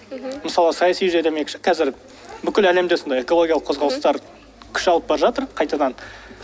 мхм мысалы саяси жүйе демекші қазір бүкіл әлемде сондай экологиялық қозғалыстар күш алып бара жатыр қайтадан